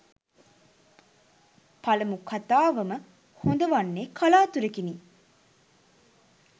පළමු කතාවම හොඳ වන්නේ කලාතුරෙකිනි.